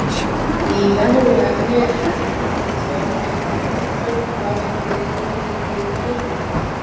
Í venjulegu efni eru nær eingöngu þrjár tegundir af eindum: rafeindir, róteindir og nifteindir.